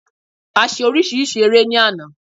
A ṣe oríṣiríṣi eré ní àná